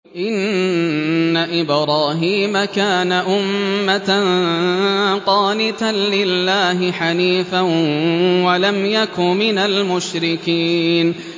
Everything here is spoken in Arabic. إِنَّ إِبْرَاهِيمَ كَانَ أُمَّةً قَانِتًا لِّلَّهِ حَنِيفًا وَلَمْ يَكُ مِنَ الْمُشْرِكِينَ